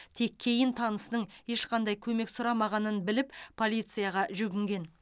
тек кейін танысының ешқандай көмек сұрамағанын біліп полицияға жүгінген